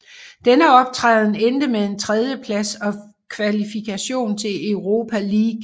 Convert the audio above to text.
Denne optræden endte med en tredjeplads og kvalifikation til Europa League